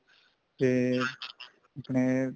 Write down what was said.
ਤੇ ਆਪਣੇ